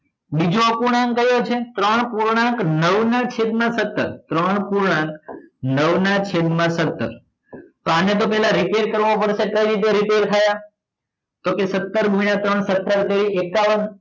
બીજો અપૂર્ણાંક કયો છે ત્રણ પૂર્ણાંક નવ ના છેદ માં સત્તર ત્રણ પૂર્ણાંક નવ નાં છેદ માં સત્તર તો આને તો પેલા repair કરવો પડે કઈ રીતે repair થાય આ તો કે સત્તર ગુણ્યા ત્રણ સત્તર તરી એકાવન